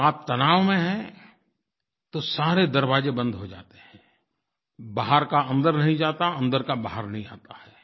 अगर आप तनाव में है तो सारे दरवाज़े बंद हो जाते हैं बाहर का अंदर नहीं जाता अंदर का बाहर नहीं आता है